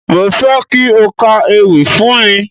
Mo fẹ́ kí o ka ewì fún mi.